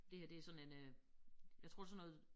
Det her det sådan en øh jeg tror sådan noget